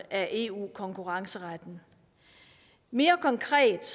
af eu konkurrenceretten mere konkret